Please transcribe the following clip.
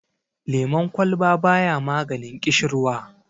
lemon kwalba ba ya maganin kishirwa